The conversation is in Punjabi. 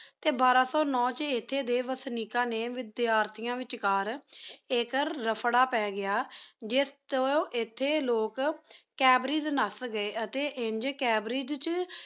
ਟੀ ਬਾਰਾ ਸੋ ਨੂ ਚ ਏਥੀ ਡੀ ਵੇਸ੍ਨਿਕਾ ਨੀ ਵੇਦ੍ਯਾਤੇਯਨ ਵੇਚ ਕਰ ਏਕ ਰ੍ਫ੍ਰਾ ਪਾ ਗੇਯ ਸੇਜ ਤੂੰ ਏਥੀ ਲੋਗ Cambridge ਨਾਸ ਗੀ ਅਤੀ ਇੰਜ Cambridge ਚ